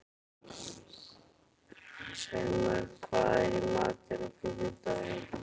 Sæmar, hvað er í matinn á fimmtudaginn?